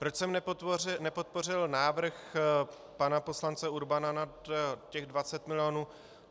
Proč jsem nepodpořil návrh pana poslance Urbana nad těch 20 milionů.